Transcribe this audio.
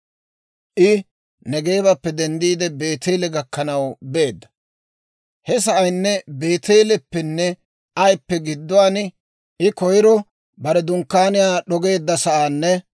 I Negeebappe denddiide Beeteele gakkanaw beedda; he sa'aynne Beeteeleppenne Ayippe gidduwaan I koyro bare dunkkaaniyaa d'ogeedda sa'aanne